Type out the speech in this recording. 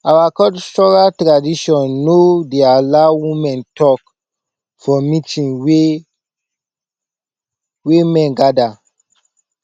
our cultural tradition no dey allow woman talk for meeting wey wey men gather